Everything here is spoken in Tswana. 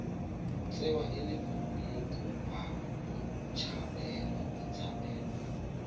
tsewa e le mokopa botshabelo